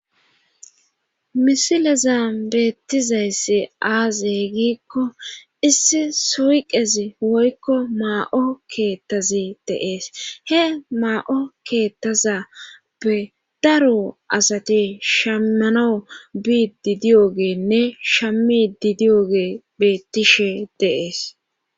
Misileza beettizayssi aazey giikko issi soyqezi woykko maa7o keettazi deees he maa7o keettazappe daro asati shammano biid di diyogeenne shammi di diyogee bettishe dees.